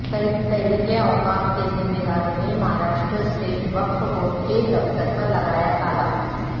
تحریک اوقاف کے ذمہ داروں نے مہاراشٹراسٹیٹ وقف بورڈ کے دفتر پر لگایا تالہ